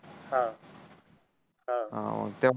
अं अं